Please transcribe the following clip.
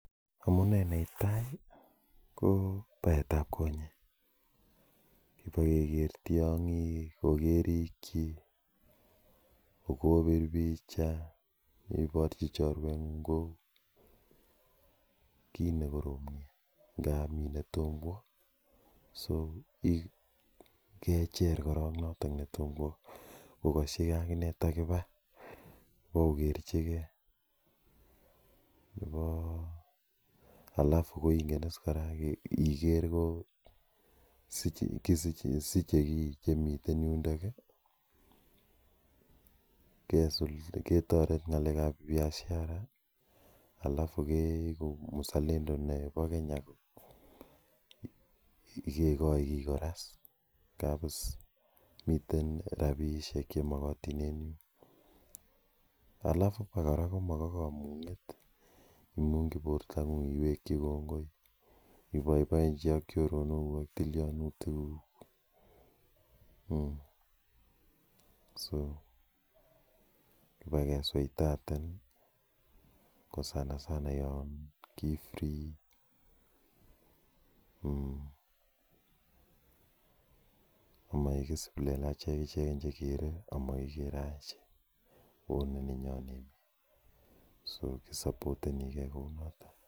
Amune ne tai ko paet ap konyek kip keker tiang'ik ko kerikchi. Ko po pir picha, iparchi chorweng'ung' kii ne korom nea nga mi ne tomo kowa. So ,kecher korok notok ne toma kowa kokaschi akine takipa kokerchigei alafu ko ingen as iker ko kosiche ki che miten yundoki i, ketaret ng'laek ap piashara alafu keeku mzalendo nepo Kenya. Kekochi kora is. Miten rapishek che makatin en yu. Alafu kora ma kamung'et i, imung'chi portong'ung' iwekchi kongoi ipaipaenchi ak choronokuk ak tilianutikuk. So, kipa kesuitaten ko sanasana yan ki free komaek is plelachen ichegei che kere ama kikere achek ako ni neyo emet. So, Kisapotenige kounotok.